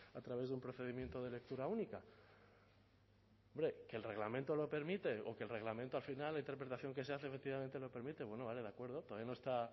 a través de un procedimiento de lectura única hombre que el reglamento lo permite o que el reglamento al final la interpretación que se hace efectivamente lo permite bueno vale de acuerdo todavía no está